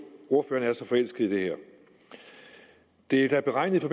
ordføreren er så forelsket i det her det er da beregnet i